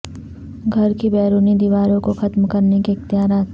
گھر کی بیرونی دیواروں کو ختم کرنے کے اختیارات